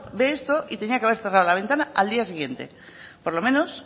ve esto y tenía que haber cerrado la ventana al día siguiente por lo menos